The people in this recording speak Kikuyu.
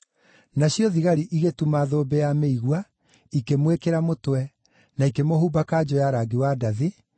Nacio thigari igĩtuma thũmbĩ ya mĩigua, ikĩmwĩkĩra mũtwe, na ikĩmũhumba kanjũ ya rangi wa ndathi,